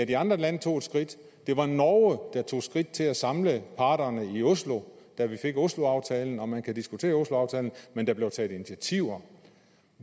de andre lande tog et skridt det var norge der tog skridt til at samle parterne i oslo da vi fik osloaftalen man kan diskutere osloaftalen men der blev taget initiativer